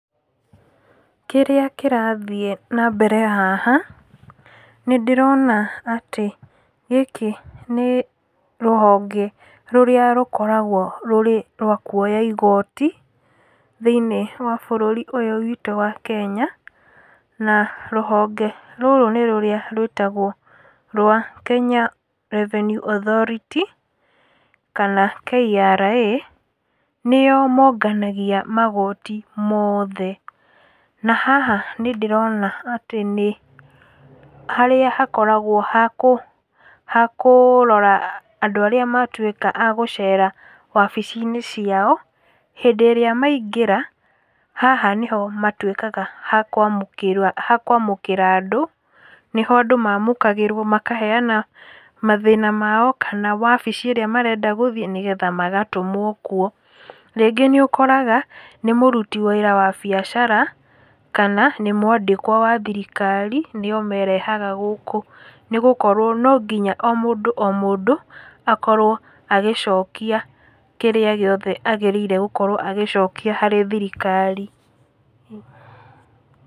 Kĩrĩa kĩrathiĩ nambere haha, nĩndĩrona atĩ gĩkĩ nĩ, rũhonge rũrĩa, rũkoragwo rwĩ rwa kuoya igoti, thĩ-inĩ wa bũrũri ũyũ witũ wa Kenya, na rũhonge rũrũ nĩ rũrĩa rwĩtagwo rwa, Kenya Revenue Authority, kana KRA, nĩo monganagia magoti mothe, na haha nĩndĩrona atĩ nĩ, harĩa hakoragwo ha kũ, ha kũrora andũ arĩa matwĩka akũ gũcera wabici-inĩ ciao, hĩndĩ ĩrĩa maingĩra, haha nĩho matwĩkaga a kwamũkĩra, hakwamũkĩra andũ, nĩho andũ mamũkagĩrwo, makaheana mathĩna mao, kana wabici ĩrĩa marenda gũthiĩ nĩgetha magatũmwo kuo, rĩngĩ nĩũkoraga, nĩ mũruti wĩra wa biacara, kana nĩ mwandĩkwa wa thirikari, nĩo merehaga gũkũ, nĩgũkorwo nonginya o mũndũ o mũndũ, akorwo agĩcokia kĩrĩa gĩothe agĩrĩire gũkorwo agĩcokia harĩ thirikari.